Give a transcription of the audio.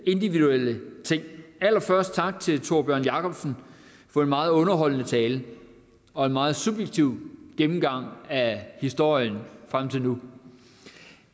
individuelle ting allerførst tak til tórbjørn jacobsen for en meget underholdende tale og en meget subjektiv gennemgang af historien frem til nu